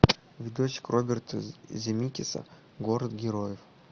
видосик роберта земекиса город героев